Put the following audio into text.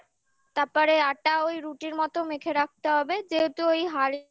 তারপরে আটা ওই রুটির মতো মেখে রাখতে হবে যেহেতু ওই